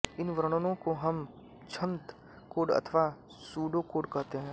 इन वर्णनों को हम छद्म कोड अथवा सूडोकोड कहते हैं